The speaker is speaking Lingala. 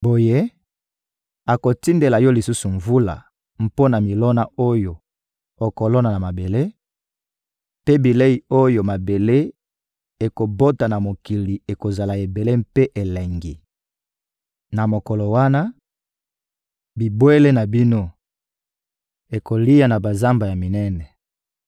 Boye, akotindela yo lisusu mvula mpo na milona oyo okolona na mabele, mpe bilei oyo mabele ekobota na mokili ekozala ebele mpe elengi. Na mokolo wana, bibwele na bino ekolia na bazamba minene.